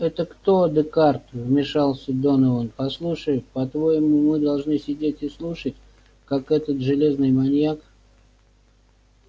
это кто декарт вмешался донован послушай по-твоему мы должны сидеть и слушать как этот железный маньяк